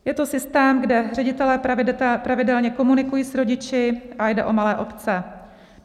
Je to systém, kde ředitelé pravidelně komunikují s rodiči a jde o malé obce.